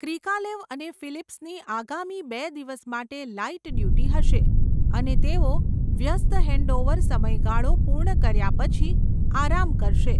Krikalev અને ફિલિપ્સની આગામી બે દિવસ માટે લાઇટ ડ્યુટી હશે, અને તેઓ વ્યસ્ત હેન્ડઓવર સમયગાળો પૂર્ણ કર્યા પછી આરામ કરશે.